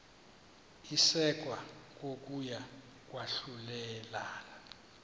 isekwa kokuya kwahlulelana